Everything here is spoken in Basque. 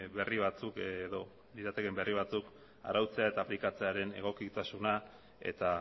berri batzuk arautzea eta aplikatzearen egokitasuna eta